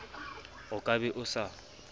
o ka be o sa